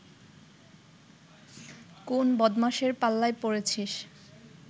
কোন বদমাশের পাল্লায় পড়েছিস